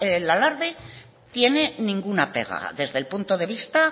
el alarde tiene ninguna pega desde el punto de vista